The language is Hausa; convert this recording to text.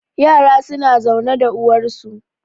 yara suna zaune da uwarsu